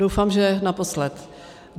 Doufám, že naposled.